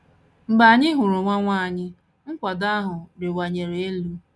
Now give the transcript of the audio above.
Mgbe anyị hụrụ nwa nwa anyị, nkwado ahụ rịwanyere elu.